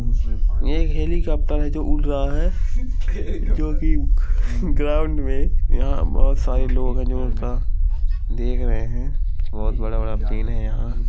ये हेलिकॉप्टर है जो उड़ रहा है जो कि ग्राउंड में यहां बहुत सारे लोग है जो देख रहे हैं। बहुत बड़ा बड़ा पेड़ है यहां ।